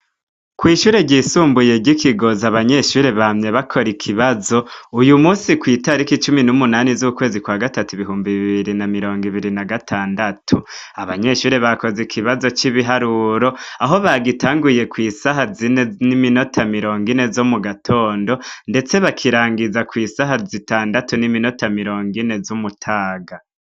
Kwishure ryisumbuye ryikigozi abanyeshure bamye bakora ikibazo uyu musi kwitariki cumu numunani zukwezi kwa gatandatu ibihumbi bibiri na mirongo ibiri nagatandatu abanyeshure bakoze ikibazo cibiharuro aho bagitanguye kwisaha zine niminota mirongo ine zo mugatondo ndetse bakirangiza kwisa zitandatu niminota mirongo ine zo kumutaga